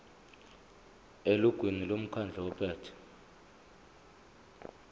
elungwini lomkhandlu ophethe